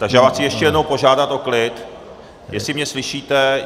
Takže já vás chci ještě jednou požádat o klid, jestli mě slyšíte.